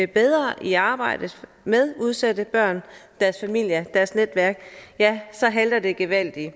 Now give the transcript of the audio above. bedre i arbejdet med udsatte børn deres familier og deres netværk så halter det gevaldigt i